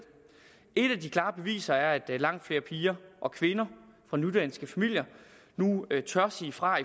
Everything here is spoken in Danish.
et af de klare beviser er at langt flere piger og kvinder fra nydanske familier nu tør sige fra